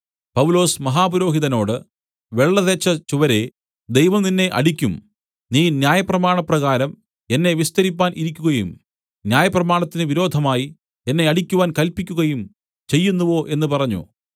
പൗലൊസ് മഹാപുരോഹിതനോട് വെള്ള തേച്ച ചുവരേ ദൈവം നിന്നെ അടിക്കും നീ ന്യായപ്രമാണപ്രകാരം എന്നെ വിസ്തരിപ്പാൻ ഇരിക്കുകയും ന്യായപ്രമാണത്തിന് വിരോധമായി എന്നെ അടിക്കുവാൻ കല്പിക്കുകയും ചെയ്യുന്നുവോ എന്നു പറഞ്ഞു